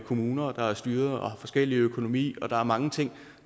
kommuner der er styret og har forskellig økonomi der er mange ting